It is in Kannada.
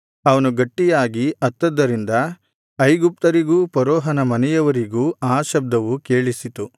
ಅವನು ಗಟ್ಟಿಯಾಗಿ ಅತ್ತದ್ದರಿಂದ ಐಗುಪ್ತರಿಗೂ ಫರೋಹನ ಮನೆಯವರಿಗೂ ಆ ಶಬ್ದವು ಕೇಳಿಸಿತು